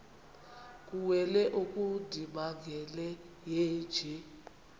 kuwele ongundimangele yeenje